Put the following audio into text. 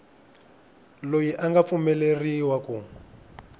loyi a nga pfumeleriwa ku